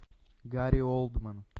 гарри олдман